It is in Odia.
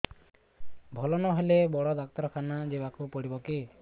ଭଲ ନହେଲେ ବଡ ଡାକ୍ତର ଖାନା ଯିବା କୁ ପଡିବକି